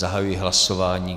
Zahajuji hlasování.